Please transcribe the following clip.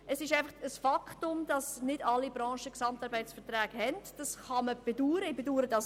Es ist ein Fakt, dass nicht alle Branchen über einen GAV verfügen, was man wie ich bedauern kann.